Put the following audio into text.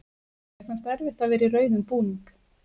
Mér fannst erfitt að vera í rauðum búning.